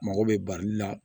Mago bɛ bali la